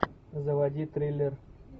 заводи триллер